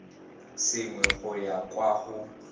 sengwe go ya kwa go